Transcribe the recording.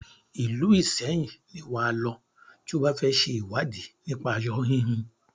Ìlú Ìṣẹyìn ni wà á lọ tí o bá fẹ ṣe ìwádìí nípa aṣo híhun.